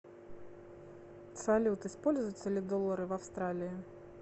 салют используются ли доллары в австралии